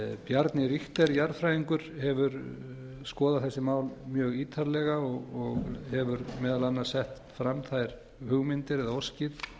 bjarni richter jarðfræðingur hefur skoðað þessi mál mjög ítarlega og hefur meðal annars sett fram þær hugmyndir eða óskir